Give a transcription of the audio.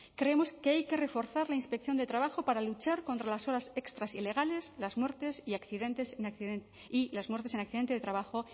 creemos que hay que reforzar la inspección de trabajo para luchar contra las horas extras ilegales y las muertes en accidentes de trabajo